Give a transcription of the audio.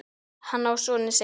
Hann á soninn Sigga.